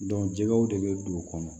jɛgɛw de bɛ don o kɔnɔ